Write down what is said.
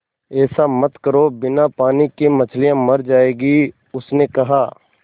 ऐसा मत करो बिना पानी के मछलियाँ मर जाएँगी उसने कहा